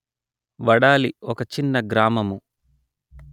వడాలి ఒక చిన్న గ్రామము